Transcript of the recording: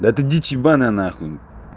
да это дичь ебаная на хуй